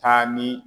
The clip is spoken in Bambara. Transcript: Taa ni